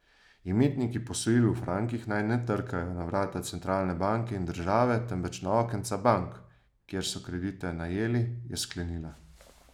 Imetniki posojil v frankih naj ne trkajo na vrata centralne banke in države, temveč na okenca bank, kjer so kredite najeli, je sklenila.